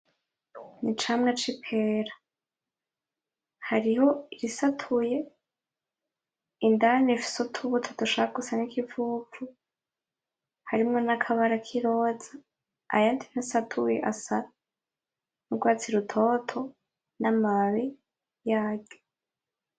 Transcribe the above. Icamwa c'ipera. Hariho irisatuye indani rifise utubuto dushaka gusa n'ikivuvu harimwo nakabara kiroza, ayandi ntasatuye asa n'urwatsi rutoto n'amababi yaryo.